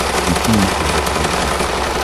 включи мне тв три на смотрешке